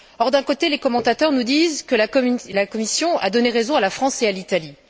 D'un côté, les commentateurs nous disent que la Commission a donné raison à la France et à l'Italie.